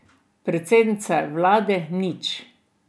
Predsednica vlade nič.